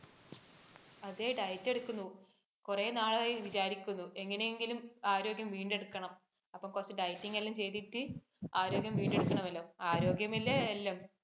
അതെ diet എടുക്കുന്നു. കുറെ നാളായി വിചാരിക്കുന്നു, എങ്ങനെയെങ്കിലും ആരോഗ്യം വീണ്ടെടുക്കണം. അപ്പോൾ കുറച്ച് dieting എല്ലാം ചെയ്തിട്ട് ആരോഗ്യം വീണ്ടെടുക്കണമല്ലോ. ആരോഗ്യമല്ലേ എല്ലാം.